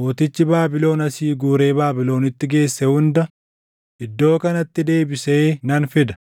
mootichi Baabilon asii guuree Baabilonitti geesse hunda iddoo kanatti deebisee nan fida.